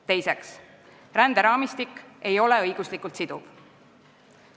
Teiseks, ränderaamistik ei ole õiguslikult siduv.